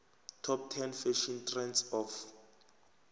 top ten fashion trends of